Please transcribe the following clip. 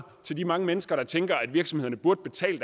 til de mange mennesker der tænker at virksomhederne burde betale